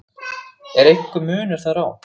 Er einhver munur þar á?